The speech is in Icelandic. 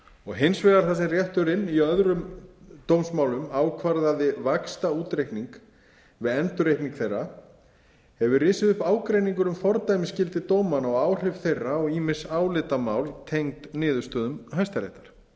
og hins vegar þar sem rétturinn í öðrum dómsmálum ákvarðaði vaxtaútreikning við endurreikning þeirra hefur risið upp ágreiningur um fordæmisgildi dómanna og áhrif þeirra á ýmis álitamál tengd niðurstöðum hæstaréttar